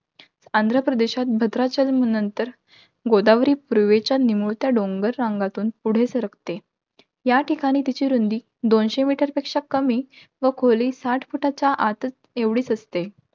आंध्रप्रदेशात भाद्रचरण नंतर, गोदावरी पूर्वेच्या निमुळत्या डोंगर रांगेतून पुढे सरकते. या ठिकाणी तिची रुंदी दोनशे meter पेक्षा कमी, व खोली साठ फुटाच्या आतंच~ एवढीच असते.